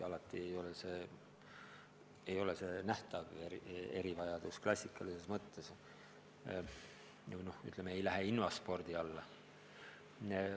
Alati ei pruugi tegu olla nähtava erivajadusega klassikalises mõttes, kõik ei lähe invaspordi alla.